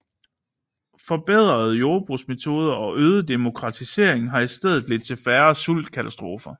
Forbedrede jordbrugsmetoder og øget demokratisering har i stedet ledt til færre sultkatastrofer